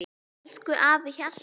Elsku afi Hjalti.